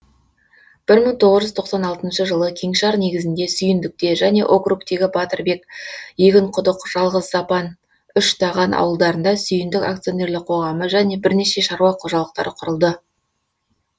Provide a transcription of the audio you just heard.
бір мың тоғыз жүз тоқсан алтыншы жылы кеңшар негізінде сүйіндікте және округтегі батырбек егінқұдық жалғызапан үштаған ауылдарында сүйіндік ақ және бірнеше шаруа қожалықтары құрылды